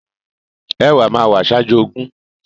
Ẹ̀wá máa wá ṣájú ogún.